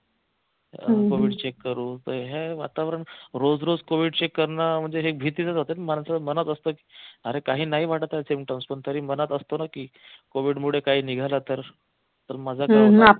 covid check करून हे वातावरण रोज रोज covid check करनं म्हणजे हे भीतीच च असत म्हणजे मनात असत अरे काही नाही वाटत आहे symptoms पण तरी मनात असतो ना की covid मुळे काही निघालं तर तर माझं